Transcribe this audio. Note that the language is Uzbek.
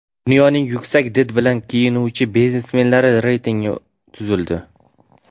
Dunyoning yuksak did bilan kiyinuvchi biznesmenlari reytingi tuzildi .